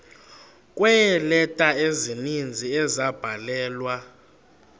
kweeleta ezininzi ezabhalelwa